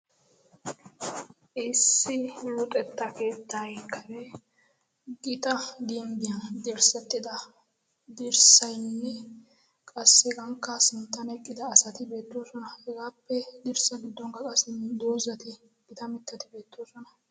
issi luuxetta keettay kare gita gimbbiyan dirssettida dirssaynne qassi hegankka sinttan eqqida asati beettoosona. hegaappe dirssa giddonkka qassi doozati gita mittati beettoosona.